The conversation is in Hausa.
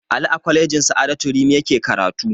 Ali a kwalejin sa'adatu rimi yake karatu